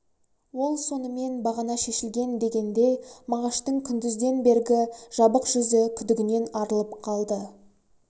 ол сонымен бағана шешілген дегенде мағаштың күндізден бергі жабық жүзі күдігінен арылып қалды